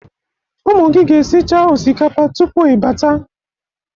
Ụmụ gị ga-esicha osikapa tupu ịbata.